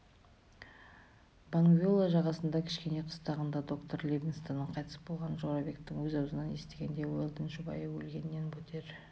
бангвеола жағасындағы кішкене қыстағында доктор ливингстонның қайтыс болғанын жорабектің өз аузынан естігенде уэлдон жұбайы өлгеннен бетер